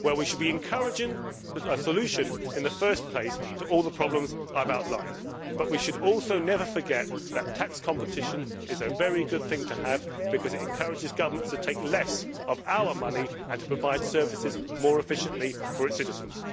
We should be encouraging a solution in the first place to all the problems I have outlined, but we should also never forget that tax competition is a very good thing to have because it encourages governments to take less of our money and to provide services more efficiently for its citizens.